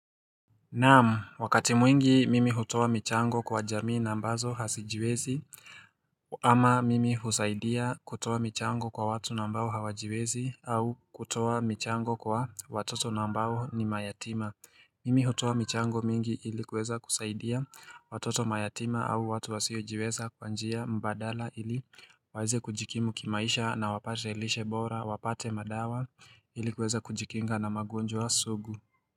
Naam wakati mwingi mimi hutoa michango kwa jamii na ambazo hazijiwezi ama mimi husaidia kutoa michango kwa watu na ambao hawajiwezi au kutoa michango kwa watoto na ambao ni mayatima Mimi hutoa michango mingi ili kuweza kusaidia watoto mayatima au watu wasiojiweza kwa njia mbadala ili waweze kujikimu kimaisha na wapate lishe bora wapate madawa ili kuweza kujikinga na magonjwa sugu.